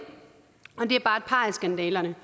par af skandalerne